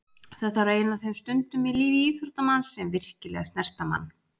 Þetta var ein af þeim stundum í lífi íþróttamanns sem virkilega snerta mann.